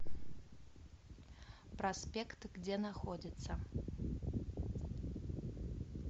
проспект где находится